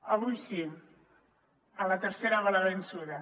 avui sí a la tercera va la vençuda